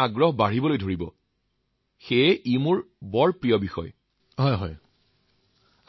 আচ্ছা